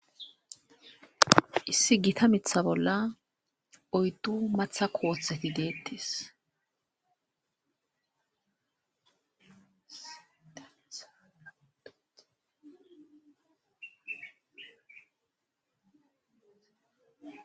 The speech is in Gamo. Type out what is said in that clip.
Issi gita mitha bolla oyddu matha kooothati deettes.